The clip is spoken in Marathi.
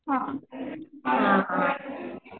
हा हा